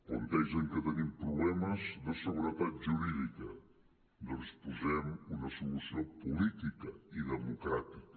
plantegen que tenim problemes de seguretat jurídica doncs posem·hi una so·lució política i democràtica